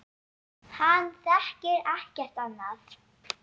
Hann þekkir ekkert annað.